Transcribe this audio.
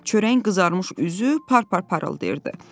Çörəyin qızarmış üzü par-par parıldayırdı.